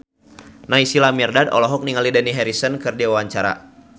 Naysila Mirdad olohok ningali Dani Harrison keur diwawancara